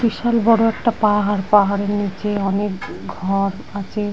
বিশাল বড় একটা পাহাড়। পাহাড়ের মধ্যে অনেক ঘর আছে।